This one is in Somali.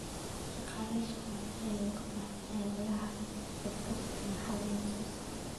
Shaqaale shaqaale ayaa looga baahan yahay ololaha shabakada kaneecada ee soo socda.